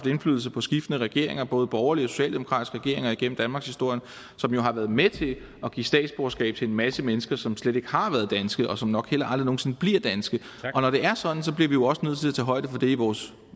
indflydelse på skiftende regeringer både borgerlige og socialdemokratiske regeringer igennem danmarkshistorien som jo har været med til at give statsborgerskab til en masse mennesker som slet ikke har været danske og som nok heller aldrig nogen sinde bliver danske og når det er sådan bliver vi jo også nødt til at tage højde for det i vores